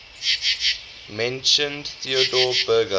mentioned theodor berger